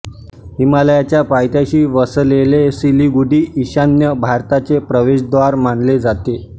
हिमालयाच्या पायथ्याशी वसलेले सिलिगुडी ईशान्य भारताचे प्रवेशद्वार मानले जाते